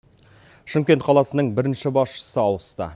шымкент қаласының бірінші басшысы ауысты